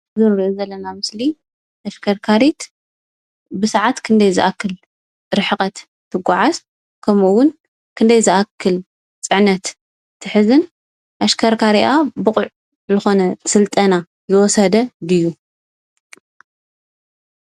እዞም ንሪኦም ዘለና ምሰሊ ተሽከርካሪት ብስዓት ክንደይ ዝኣክል ርሕቐት ትጎዓዝ ከምኡውን ክንደይ ዝኣክል ፅዕነት ትሕዝን? ኣሽከርካሪኣ ብቑዕ ዝኾነ ስልጠና ዝወሰደ ድዩ?